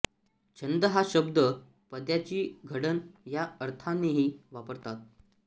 छंद हा शब्द पद्याची घडण ह्या अर्थानेही वापरतात